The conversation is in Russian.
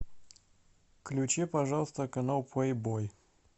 включи пожалуйста канал плейбой